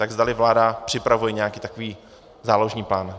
Tak zdali vláda připravuje nějaký takový záložní plán.